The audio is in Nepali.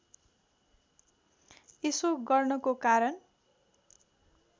यसो गर्नको कारण